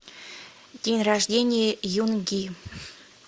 день рождения юнги